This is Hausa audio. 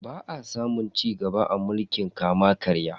Ba a samun cigaba a mulkin kama-karya.